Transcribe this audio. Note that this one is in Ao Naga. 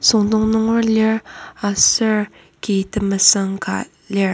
süngdong nunger lir aser ki temesüng ka lir.